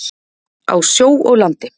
Á sjó og landi.